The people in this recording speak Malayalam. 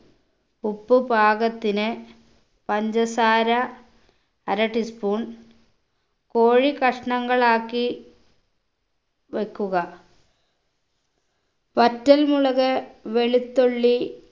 ഉപ്പ് പാകത്തിന് പഞ്ചസാര അര tea spoon കോഴി കഷ്ണങ്ങളാക്കി വെക്കുക വറ്റൽമുളക് വെളുത്തുള്ളി